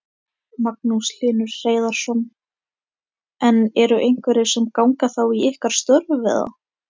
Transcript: Magnús Hlynur Hreiðarsson: En eru einhverjir sem að ganga þá í ykkar störf eða?